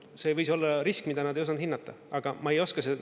See võis olla risk, mida nad ei osanud hinnata, aga ma ei oska …